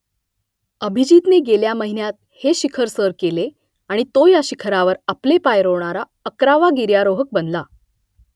अभिजीतने गेल्या महिन्यात हे शिखर सर केले आणि तो या शिखरावर आपले पाय रोवणारा अकरावा गिर्यारोहक बनला